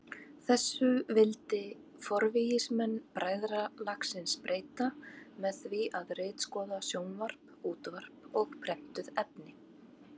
Þessu vildi forvígismenn bræðralagsins breyta með því að ritskoða sjónvarp, útvarp og prentuð efni.